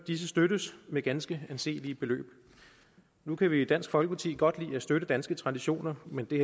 disse støttes med ganske anselige beløb nu kan vi i dansk folkeparti godt lide at støtte danske traditioner men det